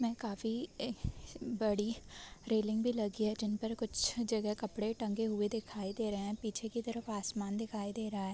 में काफी बड़ी रेलिंग भी लगी है जिन पर कुछ जगह कपडे टंगे हुए दिखाई दे रहे हैं पीछे की तरफ आसमान दिखादे रहा है।